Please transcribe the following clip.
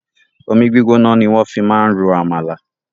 Omi gbígbóná ni wọ́n fi máa ń ro àmàlà.